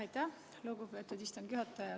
Aitäh, lugupeetud istungi juhataja!